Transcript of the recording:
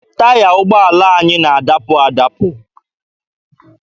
Taya ụgbọala anyị na-adapụ adabụ.